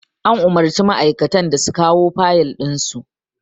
An umurci ma'aikatun da su kawo fayal ɗin su